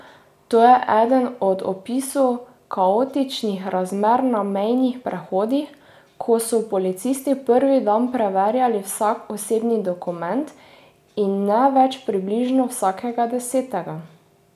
To je eden od opisov kaotičnih razmer na mejnih prehodih, ko so policisti prvi dan preverjali vsak osebni dokument, in ne več približno vsakega desetega.